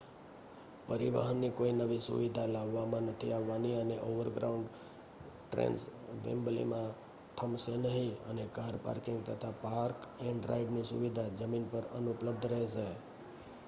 પરિવહન ની કોઈ નવી સુવિધા લાવવામાં નથી આવવાની અને ઓવરગ્રાઉન્ડ ટ્રેન્સ વેમ્બલીમાં થમશે નહિ અને કાર પાર્કિંગ તથા પાર્ક-એંડ-રાઈડ ની સુવિધા જમીન પર અનુપલબ્ધ રહેશે